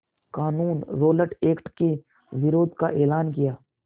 क़ानून Rowlatt Act के विरोध का एलान किया